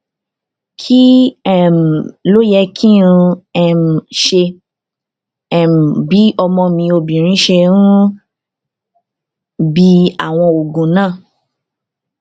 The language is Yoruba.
kí um ló yẹ kí um n ṣe um bí ọmọ mi obìnrin ṣe ń bi àwọn oògùn náà